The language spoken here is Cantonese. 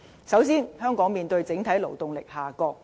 首先，香港面對整體勞動力下降。